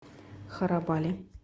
харабали